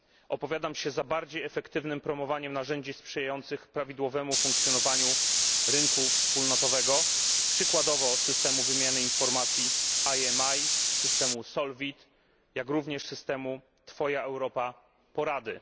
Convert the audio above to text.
Opowiadam się za skuteczniejszym promowaniem narzędzi sprzyjających prawidłowemu funkcjonowaniu rynku wspólnotowego, przykładowo systemu wymiany informacji IMI, systemu SOLVIT, jak również systemu Twoja Europa Porady.